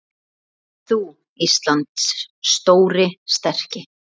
Rís þú, Íslands stóri, sterki